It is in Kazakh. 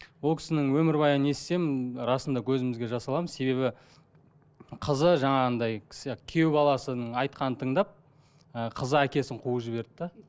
ол кісінің өмірбаянын естісем расында көзімізге жас аламыз себебі қызы жаңағындай кісі күйеу баласының айтақынын тыңдап ы қызы әкесін қуып жіберді де